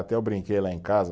Até eu brinquei lá em casa.